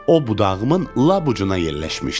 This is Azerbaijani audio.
O budağımın lap ucuna yerləşmişdi.